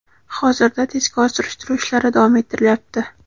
Hozirda tezkor surishtiruv ishlari davom ettirilyapti.